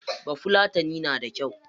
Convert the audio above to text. Bafulatanai na da kyau.